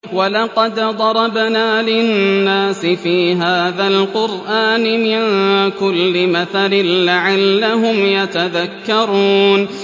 وَلَقَدْ ضَرَبْنَا لِلنَّاسِ فِي هَٰذَا الْقُرْآنِ مِن كُلِّ مَثَلٍ لَّعَلَّهُمْ يَتَذَكَّرُونَ